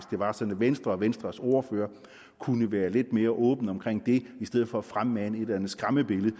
det var sådan at venstre og venstres ordfører kunne være lidt mere åbne omkring det i stedet for at fremmane et eller andet skræmmebillede